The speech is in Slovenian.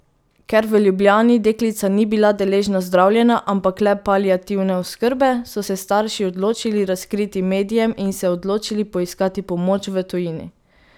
Ker v Ljubljani deklica ni bila deležna zdravljenja, ampak le paliativne oskrbe, so se starši odločili razkriti medijem in se odločili poiskati pomoč v tujini.